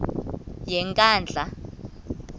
yenkandla